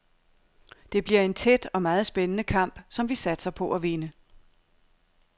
Det bliver en tæt og meget spændende kamp, som vi satser på at vinde.